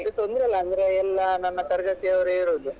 ಮತ್ತೆ ತೊಂದ್ರೆ ಇಲ್ಲ ಅಂದ್ರೆ ಎಲ್ಲಾ ನನ್ನ ತರಗತಿ ಅವ್ರೆ ಇರುದು.